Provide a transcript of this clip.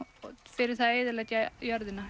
fyrir það að eyðileggja jörðina